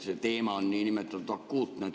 See teema on nii-öelda akuutne.